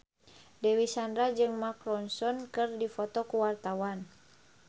Dewi Sandra jeung Mark Ronson keur dipoto ku wartawan